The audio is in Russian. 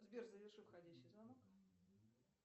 сбер заверши входящий звонок